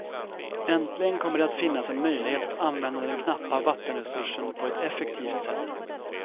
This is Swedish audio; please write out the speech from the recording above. Äntligen kommer det att finnas en möjlighet att använda den knappa vattenresursen på ett effektivt sätt.